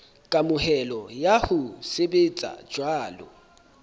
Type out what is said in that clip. kamohelo ya ho sebetsa jwalo